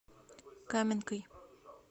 каменкой